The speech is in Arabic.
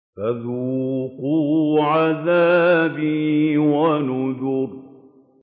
فَذُوقُوا عَذَابِي وَنُذُرِ